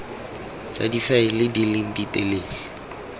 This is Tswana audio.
tsa difaele di leng ditelele